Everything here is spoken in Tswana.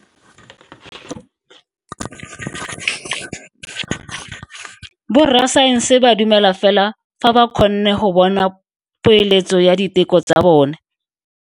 Borra saense ba dumela fela fa ba kgonne go bona poeletso ya diteko tsa bone.